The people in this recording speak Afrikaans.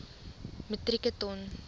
metrieke ton